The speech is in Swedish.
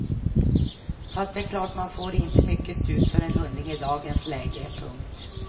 Fast det är klart man får inte mycket för en hundring i dagens läge. punkt